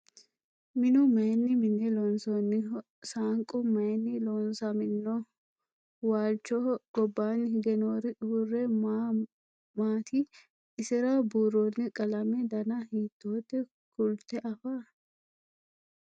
minnu mayiinni minne loonsoonniho? saanqu mayiinni loosamminno? Waalichoho gobbanni hige noori uure ma maatti? isira buuronni qalame danna hiittotte? Kulitte affa?